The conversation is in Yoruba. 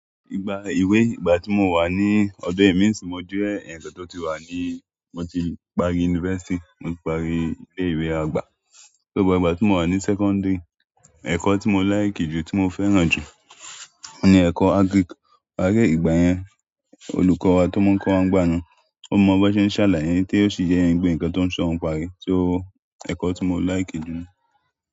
Ìgbà ìwé ìgbà tí mo wà ní ọdọ emi ń sì yin mo jẹ́ ẹ̀yán kan ti o tí wà ni, mo ti parí yunifásítì, mo ti parí ilé ìwé àgbà. Nígbà tí mo wà ní sẹ́kọ́ńdírì ẹ̀kọ́ tí mo láìkì jù, tí mo fẹ́ràn jù ni ẹ̀kọ́ agrik. Paré ìgbà yẹn olùkọ́ wa tó máa ń kọ́ wa ń gbáana ó mọ bi wọn ṣe ń ṣàlàyé tí ó sì jẹ́ ẹ́ pe nǹkan tó ń sọ́ yẹn pa rẹ so ẹ̀kọ́ tí mo láìkì jù.